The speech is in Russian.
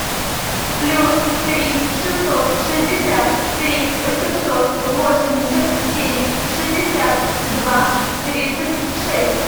плюс три шестьсот шестьдесят три восемьсот восемьдесят семь шестьдесят два тридцать шесть